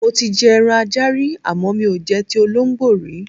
Mo ti je̩ eran ajá rí àmó̩ mi ò je̩ ti olóǹgbó rí.